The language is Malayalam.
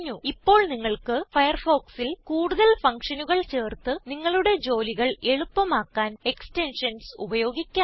ഇപ്പോൾ നിങ്ങൾക്ക് ഫയർഫോക്സിൽ കൂടുതൽ ഫങ്ഷനുകൾ ചേർത്ത് നിങ്ങളുടെ ജോലികൾ എളുപ്പമാക്കാൻ എക്സ്റ്റെൻഷൻസ് ഉപയോഗിക്കാം